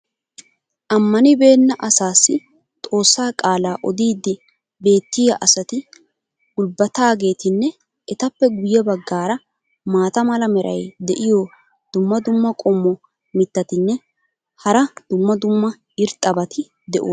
ammanibeenna asaassi xoossaa qaalaa oddiidi beetiya asati gulbataageetinne etappe guye bagaara maata mala meray diyo dumma dumma qommo mitattinne hara dumma dumma irxxabati de'oosona.